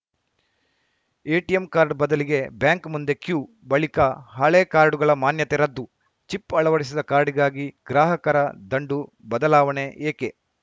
ATM card ಬದಲಿಗೆ bank ಮುಂದೆ queue ಬಳಿಕ ಹಳೇ ಕಾರ್ಡ್‌ಗಳ ಮಾನ್ಯತೆ ರದ್ದು ಚಿಪ್‌ ಅಳವಡಿಸಿದ ಕಾರ್ಡಿಗಾಗಿ ಗ್ರಾಹಕರ ದಂಡು ಬದಲಾವಣೆ ಏಕೆ